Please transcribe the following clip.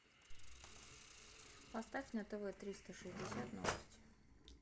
поставь на тв триста шестьдесят новости